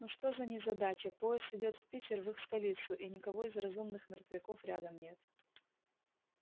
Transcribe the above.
ну что за незадача поезд идёт в питер в их столицу и никого из разумных мертвяков рядом нет